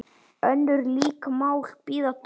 Önnur lík mál bíða dóms.